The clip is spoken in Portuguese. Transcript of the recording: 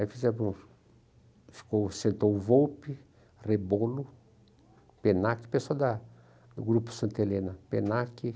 Aí fizemos, ficou, sentou o Volpi, Rebolo, Penaque, pessoa da do Grupo Santa Helena, Penaque.